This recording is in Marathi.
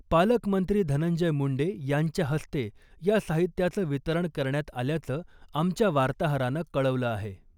पालकमंत्री धनंजय मुंडे यांच्या हस्ते या साहित्याचं वितरण करण्यात आल्याचं , आमच्या वार्ताहरानं कळवलं आहे .